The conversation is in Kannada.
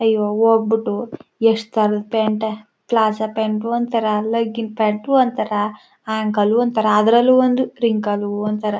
ಅಲ್ಲಿಗೆ ಹೋಗ್ಬಿಟ್ಟು ಎಷ್ಟು ತರ ಪಲಾಝೋವ್ ಪಂತೂ ಅಂತರ ಲಾಗಿನ್ ಪಂತೂ ಅಂತರ ಅನ್ನಕ್ಲ್ ಅಂತರ ಅದರಲ್ಲೂ ಒಂದು ರಿಂಕಲ್ ಒಂತರ--